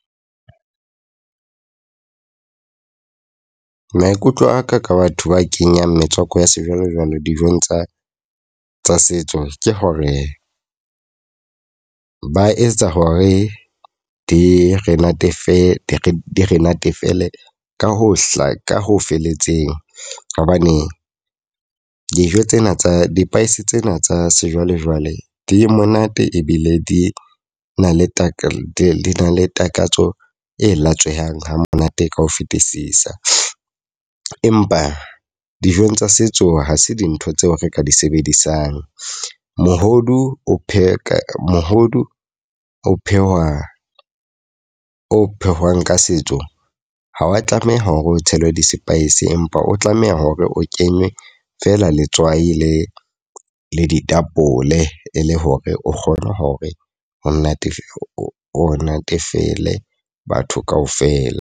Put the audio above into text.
Maikutlo a ka ka batho ba kenyang metswako ya sejwalejwale dijong tsa tsa setso. Ke hore ke ba etsa hore di re natefetswe, di re natefele ka ho hla ka ho felletseng. Hobane dijo tsena tsa di-spice tsena tsa sejwalejwale di monate ebile di na le takatso le takatso e latswehang ha monate ka ho fetisisa. Empa dijong tsa setso ha se dintho tseo re ka di sebedisang. Mohodu o pheha, mohodu o phehwa o phehwang ka setso. Ha wa tlameha ho re o tshele di-spice empa o tlameha hore o kenye feela letswai le le ditapole e le hore o kgone hore o o natefele batho kaofela.